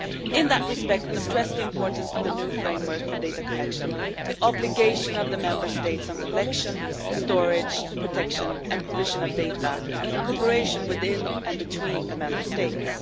In that respect, we stress the importance of the new framework for data collection, the obligation of the Member States on collection, storage, protection and provision of data, and cooperation within, and between, the Member States.